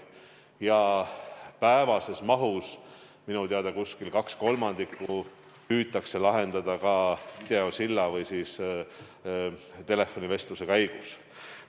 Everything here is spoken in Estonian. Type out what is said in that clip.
Minu teada püütakse päevasest mahust kaks kolmandikku lahendada kas videosilla abil või telefonivestluse käigus.